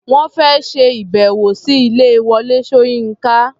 Wọ́n fẹ́ ṣe ìbẹ̀wò sí ilé Wọlé Ṣóyínká.